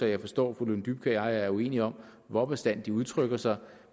jeg forstår at fru lone dybkjær og jeg er uenige om hvor bastant udtrykt sig